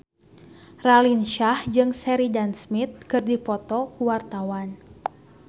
Raline Shah jeung Sheridan Smith keur dipoto ku wartawan